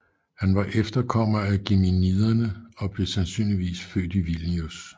Han var efterkommer af Geminiderne og blev sandsynligvis født i Vilnius